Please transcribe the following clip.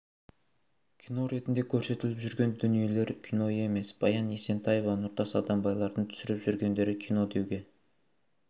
кино ретінде көрсетіліп жүрген дүниелер кино емес баян есентаева нұртас адамбайлардың түсіріп жүргендері кино деуге